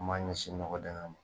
N ma ɲɛsin nɔgɔ dɛngɛ ma